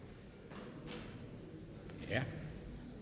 os igen